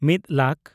ᱢᱤᱫ ᱞᱟᱠ